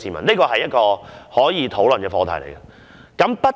這是一個可以討論的課題。